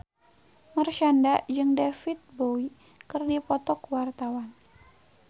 Marshanda jeung David Bowie keur dipoto ku wartawan